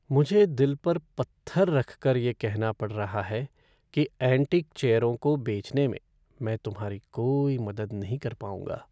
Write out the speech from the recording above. मुझे दिल पर पत्थर रखकर यह कहना पड़ रहा है कि एंटीक चेयरों को बेचने में मैं तुम्हारी कोई मदद नहीं कर पाऊंगा।